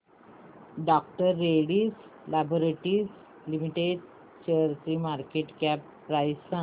डॉ Reddy's laboratories limited शेअरची market cap price सांगा